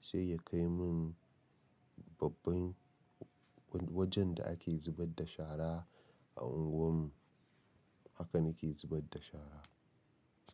sai ya kai min babban wajen da ake zubar da shara a unguwar mu. Haka na ke zubar da shara.